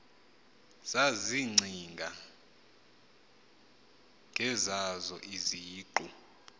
zazicinga ngezazo iziqu